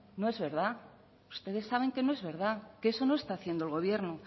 no es verdad ustedes saben que no es verdad que eso no está haciendo el gobierno